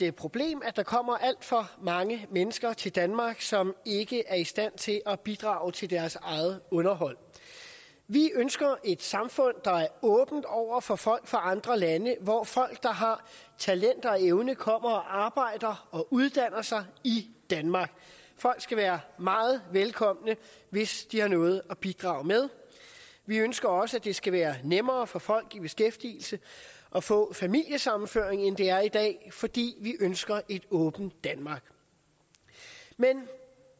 et problem at der kommer alt for mange mennesker til danmark som ikke er i stand til at bidrage til deres eget underhold vi ønsker et samfund der er åbent over for folk fra andre lande og hvor folk der har talent og evne kommer og arbejder og uddanner sig i danmark folk skal være meget velkomne hvis de har noget at bidrage med vi ønsker også at det skal være nemmere for folk i beskæftigelse at få familiesammenføring end det er i dag fordi vi ønsker et åbent danmark men